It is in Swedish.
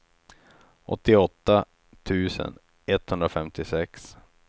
åttioåtta tusen etthundrafemtiosex